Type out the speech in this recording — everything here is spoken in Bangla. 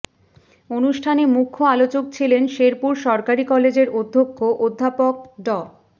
অনুষ্ঠানে মূখ্য আলোচক ছিলেন শেরপুর সরকারি কলেজের অধ্যক্ষ অধ্যাপক ড